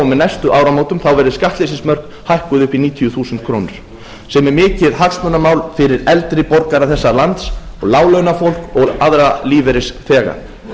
með næstu áramótum verði skattleysismörk hækkuð upp í níutíu þúsund krónur sem er mikið hagsmunamál fyrir eldri borgara þessa lands og láglaunafólk og aðra lífeyrisþega